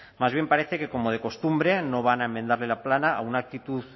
más bien parece que como de costumbre no van a enmendarle la plana a una actitud